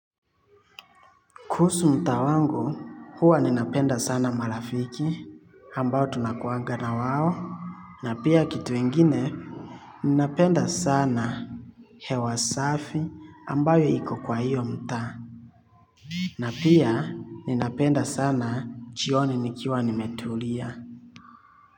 Kuhusu mtaa wangu huwa ninapenda sana malafiki ambao tunakuanga na wao. Na pia kitu ingine ninapenda sana hewa safi ambayo iko kwa hiyo mta. Na pia ninapenda sana chioni nikiwa nimetulia.